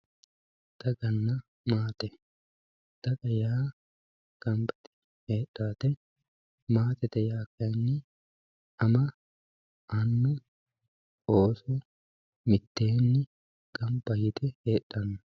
Dagana maate dagana maate yaa ganba yite miteeni hedhawote maatete yaa kayini ama anu ooso miteeni ganba yite heedhano.